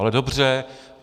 Ale dobře.